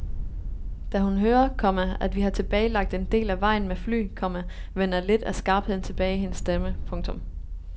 Da hun hører, komma at vi har tilbagelagt en del af vejen med fly, komma vender lidt af skarpheden tilbage i hendes stemme. punktum